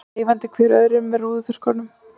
Veifandi hver öðrum með rúðuþurrkum.